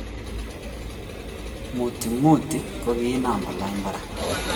Muty muty ko giinam kolany parak